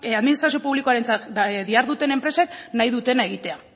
administrazio publikoarentzat diharduten enpresek nahi dutena egitea